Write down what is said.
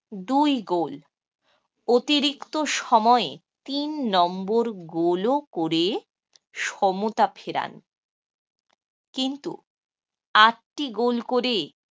দুই goal অতিরিক্ত সময়ে তিন নম্বর goal ও করে সমতা ফেরান। কিন্তু আট টি goal করে